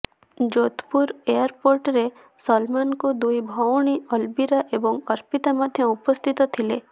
ଯୋଧପୁର ଏୟାରପୋର୍ଟରେ ସଲମାନ୍ଙ୍କ ଦୁଇ ଭଉଣୀ ଅଲବିରା ଏବଂ ଅର୍ପିତା ମଧ୍ୟ ଉପସ୍ଥିତ ଥିଲେ